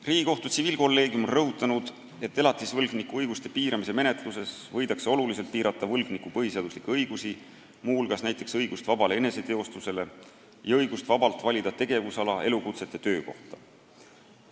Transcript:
Riigikohtu tsiviilkolleegium on rõhutanud, et elatisvõlgniku õiguste piiramise menetluses võidakse oluliselt piirata võlgniku põhiseaduslikke õigusi, muu hulgas näiteks õigust vabale eneseteostusele ja õigust vabalt valida tegevusala, elukutset ja töökohta.